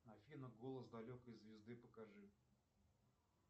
афина голос далекой звезды покажи